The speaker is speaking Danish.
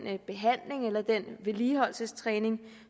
behandling eller den vedligeholdelsestræning